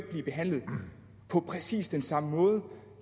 blive behandlet på præcis den samme måde